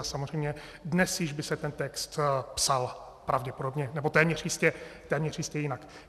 A samozřejmě dnes již by se ten text psal pravděpodobně, nebo téměř jistě jinak.